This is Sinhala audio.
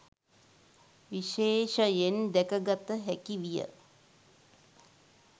විශේෂයෙන් දැකගත හැකි විය